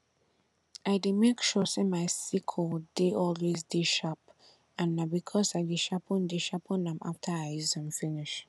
i dey make sure say my sickle dey always dey sharp and na because i dey sharpen dey sharpen am after i use am finish